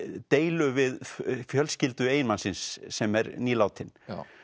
deilum við fjölskyldu eiginmanns síns sem er nýlátinn